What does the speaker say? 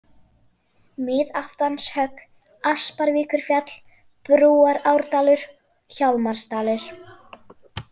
Miðaftanshögg, Asparvíkurfjall, Brúarárdalur, Hjálmarsdalur